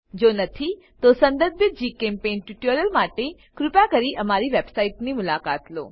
જો નથી તો સંદર્ભિત જીચેમ્પેઇન્ટ ટ્યુટોરીયલો માટે કૃપા કરી અમારી વેબસાઈટની મુલાકાત લો